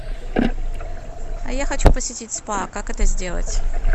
а я хочу посетить спа как это сделать